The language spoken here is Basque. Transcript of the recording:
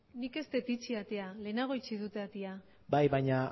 nik ez dut itxi atea lehenago itxi dute atea bai baina